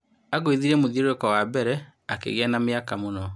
" Angũithirie mũthiũrũrũko wambere akĩgĩa na mĩaka mũno.